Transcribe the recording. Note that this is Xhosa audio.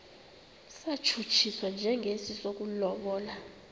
satshutshiswa njengesi sokulobola